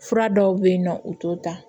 Fura dɔw bɛ yen nɔ u t'o ta